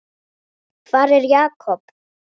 Hvar er Jakob?